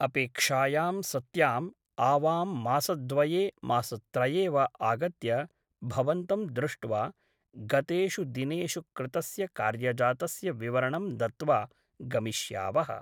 अपेक्षायां सत्याम् आवां मासद्वये मासत्रये वा आगत्य भवन्तं दृष्ट्वा गतेषु दिनेषु कृतस्य कार्यजातस्य विवरणं दत्त्वा गमिष्यावः ।